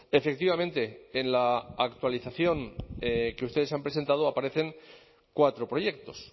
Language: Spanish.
efectivamente en la actualización que ustedes han presentado aparecen cuatro proyectos